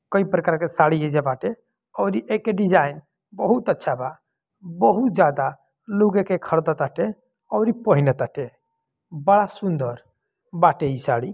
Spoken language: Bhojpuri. कई प्रकार के साड़ी एजा बाटे और एक डिज़ाइन बहुत अच्छा बा बहुत ज्यादा | लोग एके ख़रीद ताटे और पहीना ताटे बड़ा सुन्दर बाटे इ साड़ी।